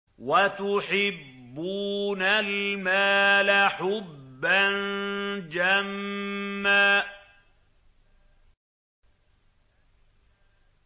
وَتُحِبُّونَ الْمَالَ حُبًّا جَمًّا